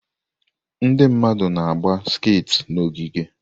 Ndị mmadụ na-agba skati n'ogige.